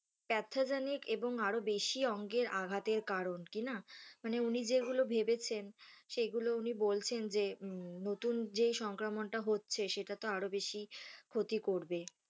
ক্যাথজনিক এবং আরও বেশি অঙ্গের আঘাতের কারণ কিনা মানে উনি যেগুলো ভেবেছেন সেগুলো উনি বলছেন যে নতুন যে সংক্রমণটা হচ্ছে সেটা তো আরও বেশি ক্ষতি করবে।